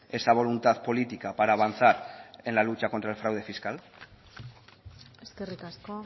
esa voluntad política para avanzar en la lucha contra el fraude fiscal eskerrik asko